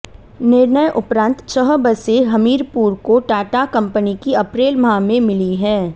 निर्णय उपरांत छह बसें हमीरपुर को टाटा कंपनी की अप्रैल माह में मिली है